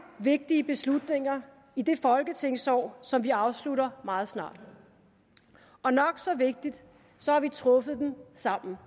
vigtige beslutninger i det folketingsår som vi afslutter meget snart og nok så vigtigt har vi truffet dem sammen